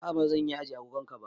A'a bazan iya ajiye agogon ka ba